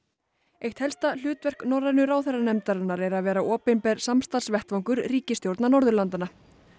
eitt helsta hlutverk norrænu ráðherranefndarinnar er að vera opinber samstarfsvettvangur ríkisstjórna Norðurlandanna